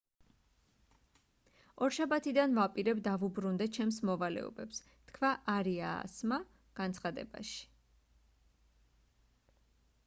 ორშაბათიდან ვაპირებ დავუბრუნდე ჩემს მოვალეობებს თქვა არიასმა განცხადებაში